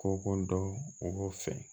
Ko kodɔn mɔgɔw fɛ